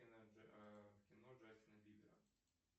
в кино джастина бибера